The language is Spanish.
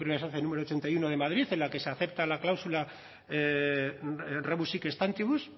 primera instancia número ochenta y uno de madrid en la que se acepta la cláusula rebus sic stantibus